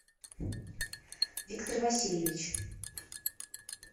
виктор васильевич